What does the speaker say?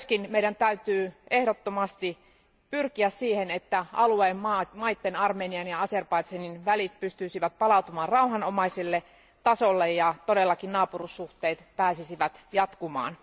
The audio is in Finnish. Meidän täytyy myös ehdottomasti pyrkiä siihen, että alueen maiden, Armenian ja Azerbaidžanin, välit pystyisivät palautumaan rauhanomaiselle tasolle ja naapuruussuhteet pääsisivät jatkumaan.